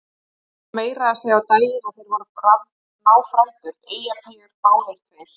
Það kom meira að segja á daginn að þeir voru náfrændur, Eyjapeyjar báðir tveir!